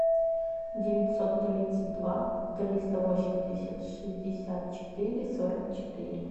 девятьсот тридцать два триста восемьдесят шестьдесят четыре сорок четыре